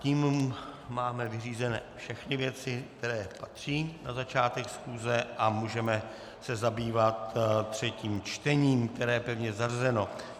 Tím máme vyřízené všechny věci, které patří na začátek schůze, a můžeme se zabývat třetím čtením, které je pevně zařazeno.